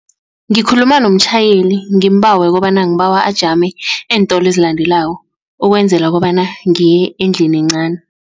Ngikhuluma nomtjhayeli ngimbawe kobana ngibawe ajame eentolo ezilandelako ukwenzela kobana ngiye endlini encani.